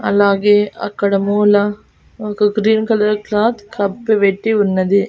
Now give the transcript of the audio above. అలాగే అక్కడ మూల ఒక గ్రీన్ కలర్ క్లాత్ కప్పి పెట్టి ఉన్నది.